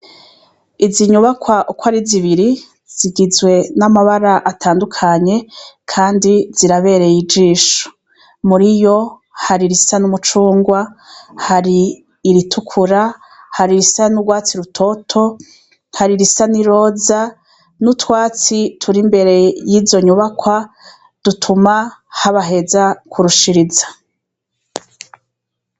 Izinyubakwa uko ari zibiri zigizwe n'amabara atandukanye, kandi zirabereye ijisho muri yo hari irisa n'umucungwa hari iritukura hari irisa n'urwatsi rutoto hari irisa n' i roza n'utwatsi turi imbere yizo nyubakwa dutuma habaheza kurushiriza.